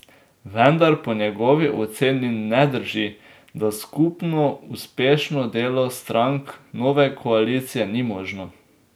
Vendar po njegovi oceni ne drži, da skupno uspešno delo strank nove koalicije ni možno.